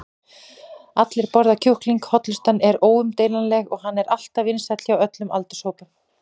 allir borða kjúkling, hollustan er óumdeilanleg og hann er alltaf vinsæll hjá öllum aldurshópum.